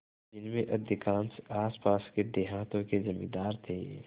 जिनमें अधिकांश आसपास के देहातों के जमींदार थे